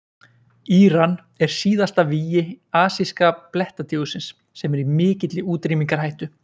íran er síðasta vígi asíska blettatígursins sem er í mikilli útrýmingarhættu